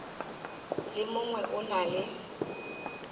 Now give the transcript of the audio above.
le mongwe o na le